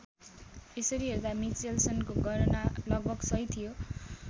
यसरी हेर्दा मिचेल्सनको गणना लगभग सही थियो।